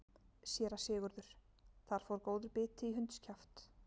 SÉRA SIGURÐUR: Þar fór góður biti í hundskjaft.